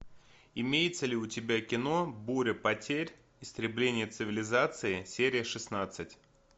имеется ли у тебя кино буря потерь истребление цивилизации серия шестнадцать